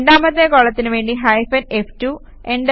രണ്ടാമത്തെ കോളത്തിനുവേണ്ടി hyphen F2